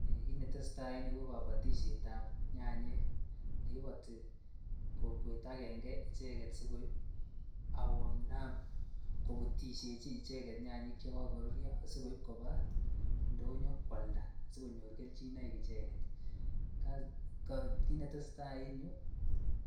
Kiit netesetai en yuu ko kobotishetab nyanyik neiboti kokwet akeng'e icheket asikoib ak konam lobutishechi icheket nyanyik che kokoruryo asikoib kobaa indonyo kwalda asikonyor kelchinoik icheket, kiit neteseta en yuu